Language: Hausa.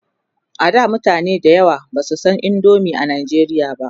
a da mutane da yawa Basu San indomie a nigeria ba